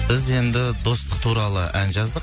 біз енді достық туралы ән жаздық